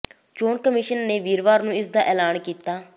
ਚੋਣ ਕਮਿਸ਼ਨ ਨੇ ਵੀਰਵਾਰ ਨੂੰ ਇਸ ਦਾ ਐਲਾਨ ਕੀਤਾ